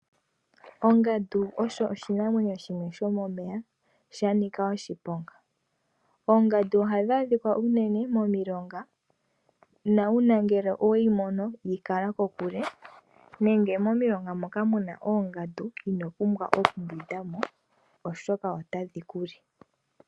Ongandu oyo oshinamwenyo shimwe shomomeya, shaninga oshiponga. Oongandu oha dhi adhika unene momilonga, na uuna we yi mono yi kala kokule, nenge momilonga moka muna oongandu ino pumbwa oku pitamo oshoka ota dhi ku li.